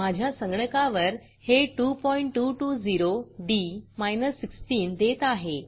माझ्या संगणकावर हे 2220डी 16 देत आहे